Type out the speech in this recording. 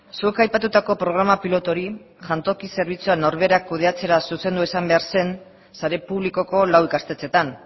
zuk aipatutako programa pilotu hori jantoki zerbitzuan norberak kudeatzera zuzendu izan behar zen sare publikoko lau ikastetxeetan